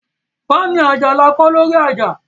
Fáànù ajá ní a kọ́ lórí ajá